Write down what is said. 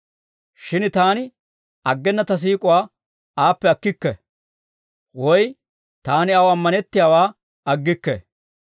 Shin taani aggena ta siik'uwaa aappe akkikke; woy taani aw ammanettiyaawaa aggikke.